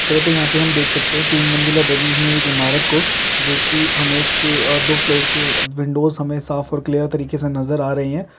तो हम यहां पर हम देख सकते हैं तीन मंजिला बनी हुई एक इमारत को जो की हमे उसकी अ दो फ्लोर की विंडोज हमें साफ और क्लियर तरीके से नजर अ रही है।